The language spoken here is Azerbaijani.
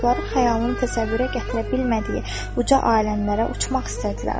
Çoxları xəyalın təsəvvürə gətirə bilmədiyi uca aləmlərə uçmaq istədilər.